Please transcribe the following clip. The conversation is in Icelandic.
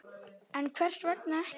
En hvers vegna ekki?